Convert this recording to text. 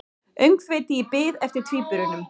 Öngþveiti í bið eftir tvíburunum